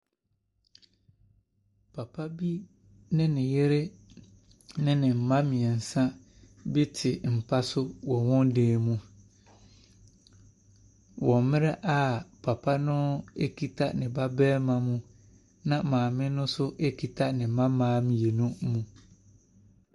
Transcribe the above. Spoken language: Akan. Papa bi ne ne yere ne ne mma mmeɛnsa bi te mpa so wɔ wɔn dan mu, wɔ mmerɛ a papa no kita ne ba barima mu, na maame no nso kita ne mma mmaa mmienu mu.